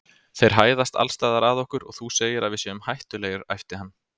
Þeir hæðast alls staðar að okkur og þú segir að við séum hættulegir æpti hann.